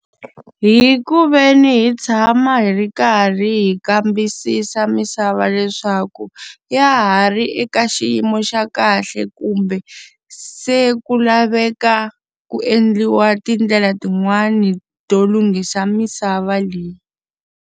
Hi ku ve ni hi tshama hi ri karhi hi kambisisa misava leswaku ya ha ri eka xiyimo xa kahle kumbe, se ku laveka ku endliwa tindlela tin'wani to lunghisa misava leyi.